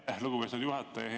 Aitäh, lugupeetud juhataja!